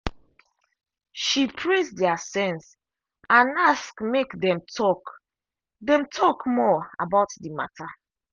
she praise their sense and ask make dem talk dem talk more about the matter.